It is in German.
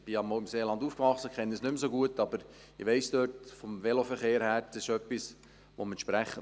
Ich konnte auch noch mit der Verwaltung sprechen.